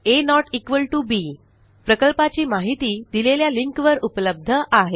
Hint आ बी प्रकल्पाची माहिती दिलेल्या लिंकवर उपलब्ध आहे